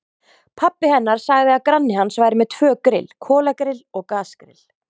Pabbi hennar sagði að granni hans væri með tvö grill, kolagrill og gasgrill.